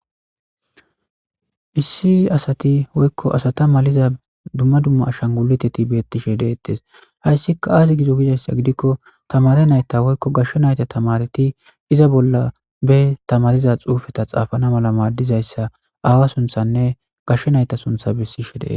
Issi asati woyko asata maliza dumma dumma ashaguluteti betishe detese haysikka azi gize gizaysa gidikko tamare nayta woyko gashe nayta tamareti iza bolla be tamariza xufe xafanna mala madizaysa aawa Suthanne gashe nayta suntha besishe de'ese